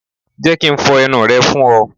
Jẹ́ ki n fo ẹnu rẹ fún ọ.